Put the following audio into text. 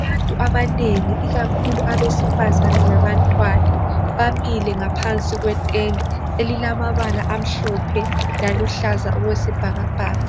Abantu banengi ikakhulu abesifazana labantwana bamile ngaphansi kwetende elilamabala amhlophe laluhlaza okwesibhakabhaka.